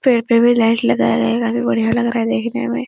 पेड़ पे भी लाइट लगाया गया है काफी बढ़िया लग रहा देखने में --